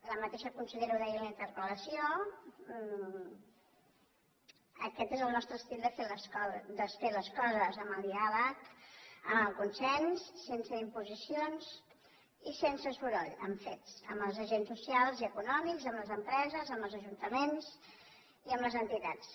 la mateixa consellera ho deia en la interpel·lació aquest és el nostre estil de fer les coses amb el diàleg amb el consens sense imposicions i sense soroll amb fets amb els agents socials i econòmics amb les empreses amb els ajuntaments i amb les entitats